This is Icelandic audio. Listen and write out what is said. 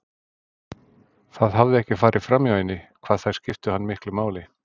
Það hafði ekki farið framhjá henni hvað þær skiptu hann miklu máli.